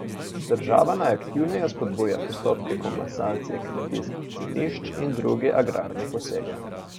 Država naj aktivneje spodbuja postopke komasacije kmetijskih zemljišč in druge agrarne posege.